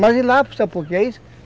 Mas ir lá, porque é isso.